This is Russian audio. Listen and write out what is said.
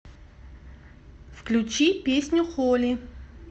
включи песню холи